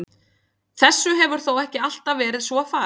Þessu hefur þó ekki alltaf verið svo farið.